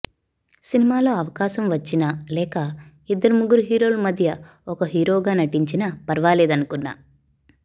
సినిమాలో అవకాశం వచ్చినా లేక ఇద్దరు ముగ్గురు హీరోల మధ్య ఒక హీరోగా నటించినా ఫర్వాలేదనుకున్నా